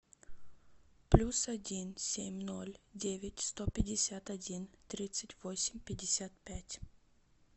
плюс один семь ноль девять сто пятьдесят один тридцать восемь пятьдесят пять